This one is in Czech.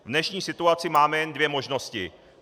V dnešní situaci máme jen dvě možnosti.